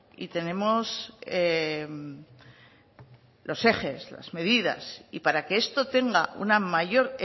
y tenemos los ejes las medidas y para que esto tenga una mayor